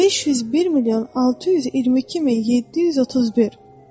501 milyon 622 min 731.